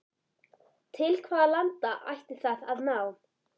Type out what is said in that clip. Til hvaða landa ætti það að ná?